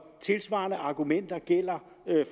tilsvarende argumenter gælder